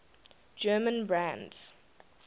german brands